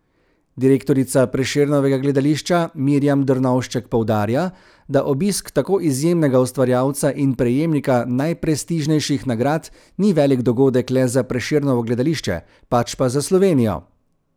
Direktorica Prešernovega gledališča Mirjam Drnovšček poudarja, da obisk tako izjemnega ustvarjalca in prejemnika najprestižnejših nagrad ni velik dogodek le za Prešernovo gledališče, pač pa za Slovenijo.